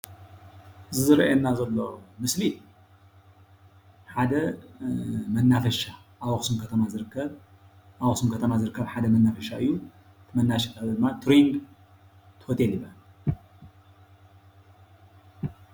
ዝረአየና ዘሎ ምስሊ ሓደ መናፈሻ ኣብ ኣክሱም ከተማ ዝርከብ ኣብ ኣክሱም ከተማ ዝርከብ ሓደ መናፈሻ እዩ፡፡ መናፋሻ ድማ ቱሪንግ ሆቴል ይባሃል፡፡